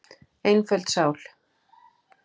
Einföld sál.